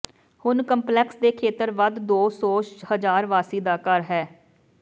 ਹੁਣ ਕੰਪਲੈਕਸ ਦੇ ਖੇਤਰ ਵੱਧ ਦੋ ਸੌ ਹਜ਼ਾਰ ਵਾਸੀ ਦਾ ਘਰ ਹੈ